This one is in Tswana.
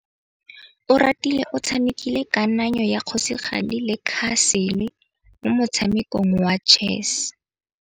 Oratile o tshamekile kananyô ya kgosigadi le khasêlê mo motshamekong wa chess.